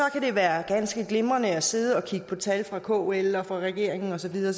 kan det være ganske glimrende at sidde og kigge på tal fra kl og fra regeringen og så videre